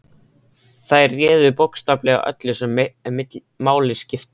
Þær réðu bókstaflega öllu sem máli skipti.